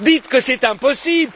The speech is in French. Dites que c'est impossible!